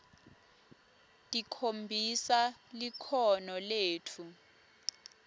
tikhombisa likhono letfu